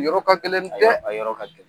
Yɔrɔ ka gɛlɛn dɛ! A yɔrɔ ka gɛlɛn.